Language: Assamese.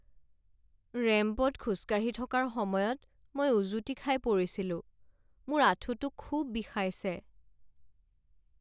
ৰেম্পত খোজকাঢ়ি থকাৰ সময়ত মই উজুটি খাই পৰিছিলোঁ। মোৰ আঁঠুটো খুব বিষাইছে।